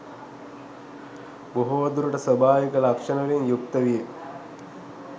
බොහෝ දුරට ස්වාභාවික ලක්‍ෂණවලින් යුක්ත විය.